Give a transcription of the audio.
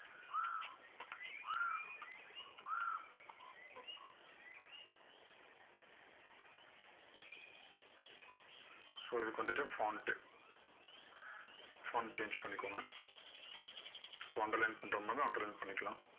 so இதுக்கு வந்துட்டு ட்டு change பண்ணிகோங்க so underline பண்ற மாதிரி இருந்தா underline பண்ணிக்கலாம்.